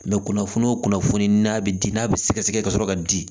kunnafoni o kunnafoni n'a bɛ di n'a bɛ sɛgɛsɛgɛ kasɔrɔ ka di